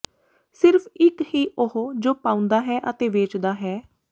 ਸਿਰਫ਼ ਇੱਕ ਹੀ ਉਹ ਜੋ ਪਾਉਂਦਾ ਹੈ ਅਤੇ ਵੇਚਦਾ ਹੈ